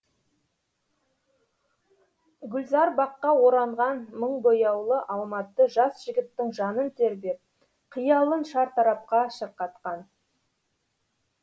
гүлзар баққа оранған мың бояулы алматы жас жігіттің жанын тербеп қиялын шартарапқа шырқатқан